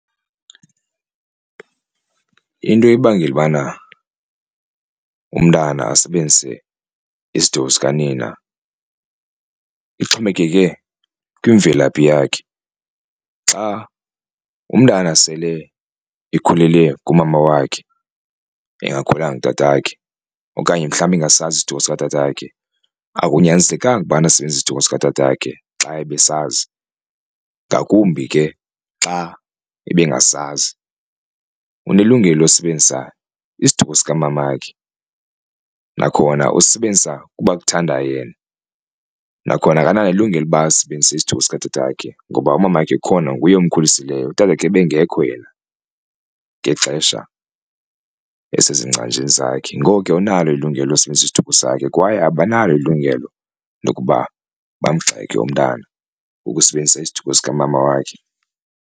Into ebangela ubana umntana asebenzise isiduko sikanina ixhomekeke kwimvelaphi yakhe xa umntana sele ekhulele kumama wakhe engakhulelanga kutatakhe okanye mhlawumbi engasazi isiduko sikatatakhe akunyanzelekanga ukubana asebenzise isiduko sikatatakhe xa ebesazi ngakumbi ke xa ebengazazi. Unelungelo losebenzisa isiduko sikamamakhe nakhona usisebenzisa kuba kuthanda yena nakhona akanalo ilungelo loba asisebenzise isiduko sikatatakhe ngoba umamakhe ukhona nguye omkhulisileyo utatakhe ebengekho yena ngexesha esezingcanjini zakhe. Ngoko ke unalo ilungelo lokusisebenzisa isiduko sakhe kwaye abanalo ilungelo lokuba bamgxeke umntana ukusebenzisa isiduko sikamama wakhe.